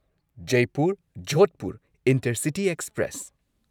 Jaipur Jodhpur intercity express